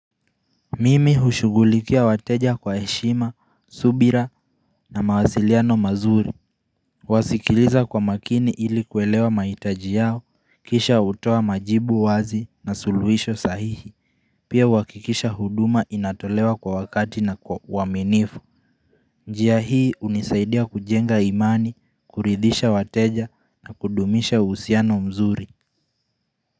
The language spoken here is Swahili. Mimi hushugulikia wateja kwa eshima, subira na mawasiliano mazuri Wasikiliza kwa makini ili kuelewa maitaji yao, kisha utoa majibu wazi na suluisho sahihi Pia wakikisha huduma inatolewa kwa wakati na kwa waminifu njia hii unisaidia kujenga imani, kuridhisha wateja na kudumisha usiano mzuri.